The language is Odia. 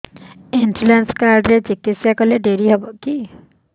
ଇନ୍ସୁରାନ୍ସ କାର୍ଡ ରେ ଚିକିତ୍ସା କଲେ ଡେରି ହବକି